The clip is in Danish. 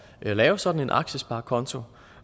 at lave sådan en aktiesparekonto